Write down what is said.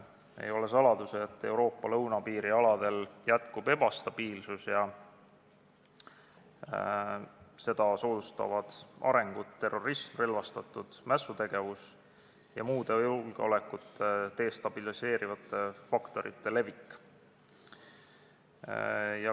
Ei ole saladus, et Euroopa lõunapiiri aladel jätkub ebastabiilsus ning seda soodustavad terrorismi, relvastatud mässutegevuse ja muude julgeolekut destabiliseerivate faktorite levik.